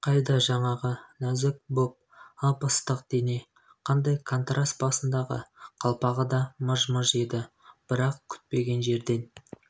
қайда жаңағы нәзік бол ып-ыстық дене қандай контраст басындағы қалпағы да мыж-мыж еді бірақ күтпеген жерде